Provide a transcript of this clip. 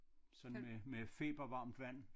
Sådan med med febervarmt vand